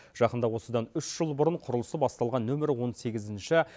жақында осыдан үш жыл бұрын құрылысы басталған нөмірі он сегізінші